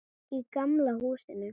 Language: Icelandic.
Í gamla húsinu.